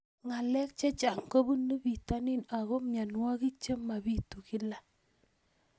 Ng'alek chechang' kopunu pitonin ako mianwogik che mapitu kila